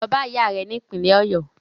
Lọ bá ìyá rẹ ni ìpínlẹ́ Ọ̀yọ́!